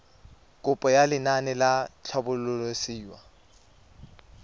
kopo ya lenaane la tlhabololosewa